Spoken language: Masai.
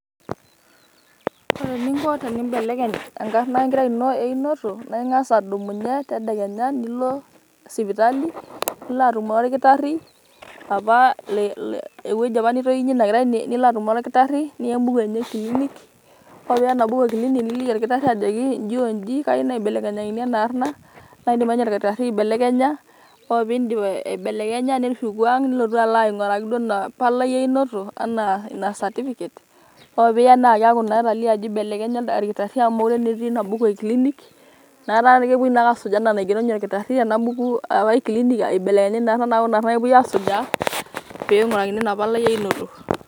Ore eninko tenimbelekeny enkarna enkerai ino einoto naa ingas adumunye tedekenya nilo sipitali nilo atumore orkitari apa ewueji nitounyie ina kerai . nilo atumore orkitari niya embuku enye e clinic . ore piya embuku enye e clinic niliki orkitari ajo iji oji ,kayieu naibelekenyakini ena arna naa kidim ake orkitari aibelekenya . ore pindip aibelekenya nishuku ang ,nilotu alo ainguraki ina palai einoto ana ina cerificate. ore piya naa keaku naa etalie ajo ibelekenya olkitari amu mokire naa etii ina buku e clinic. niaku etaa naa kepuoi ake asuj anaa enatejo ninye orkitari ena buku.